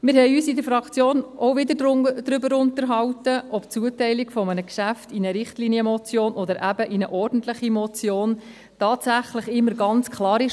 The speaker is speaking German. In der Fraktion haben wir uns auch wieder darüber unterhalten, ob die Zuteilung eines Geschäfts in eine Richtlinienmotion oder in eine ordentliche Motion für das Plenum tatsächlich immer klar ist.